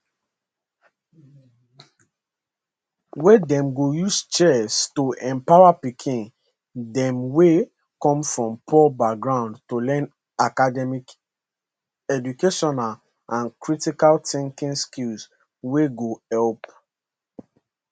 wia dem go use chess to empower pikin dem wey come from poor background to learn academic educational and critical thinking skills wey go helep